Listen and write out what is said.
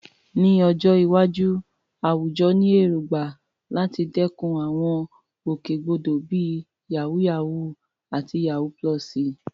Ní ọjọ́ iwájú, àwùjọ ní èrògbà láti dẹ́kun àwọn ìgbòkègbodò bíi "yàwúyáwù" àti "yawú púlọ̀sì."